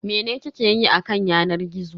Mene kike yi a kan yanar gizo?